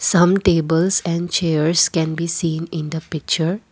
some tables and chairs can be seen in the picture.